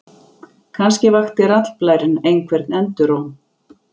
Kannske vakti raddblærinn einhvern enduróm.